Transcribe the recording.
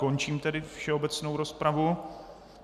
Končím tedy všeobecnou rozpravu.